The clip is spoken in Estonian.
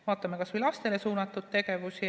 Vaatame kas või lastele suunatud tegevusi.